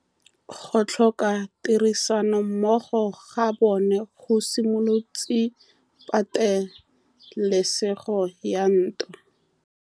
Go tlhoka tirsanommogo ga bone go simolotse patêlêsêgô ya ntwa.